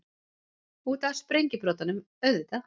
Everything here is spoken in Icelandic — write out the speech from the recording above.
Út af sprengjubrotunum, auðvitað!